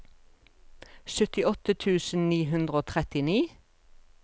syttiåtte tusen ni hundre og trettini